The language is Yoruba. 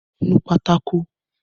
Nu pátákó!